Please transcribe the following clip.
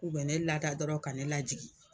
U bɛ ne ladɔrɔn ka ne lajigin